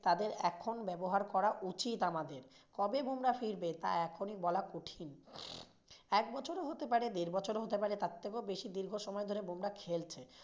তাদের এখন ব্যবহার করা উচিত আমাদের, কবে বুমরাহ ফিরবে তা এখনই বলা কঠিন। এক বছরও হতে পারে দেড় বছরও হতে পারে তার থেকেও বেশি দীর্ঘ সময় ধরে বুমরাহ খেলছে।